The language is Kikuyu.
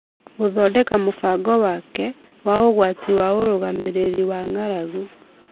gũthondeka mũbango wake wa ũrũgamĩrĩri wa ũgwati wa ng'aragu